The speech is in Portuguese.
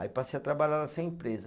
Aí passei a trabalhar nessa empresa.